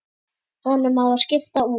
Honum á að skipta út.